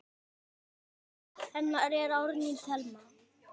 Dóttir hennar er Árný Thelma.